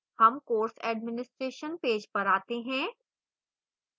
हम course administration page पर we हैं